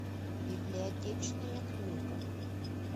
библиотечная книга